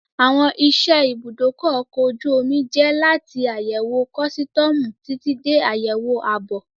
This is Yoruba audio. Àwọn iṣẹ́ ẹ ibùdó ọkọ̀ ojú omi jẹ́ láti àyẹ̀wò kọ́sítọ̀ọ̀mù títí dé àyẹ̀wò ààbò